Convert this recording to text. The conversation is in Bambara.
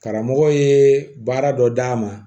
Karamɔgɔ ye baara dɔ d'a ma